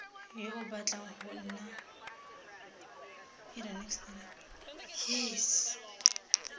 yo o batlang go nna